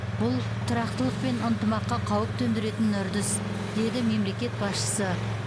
бұл тұрақтылық пен ынтымаққа қауіп төндіретін үрдіс деді мемлекет басшысы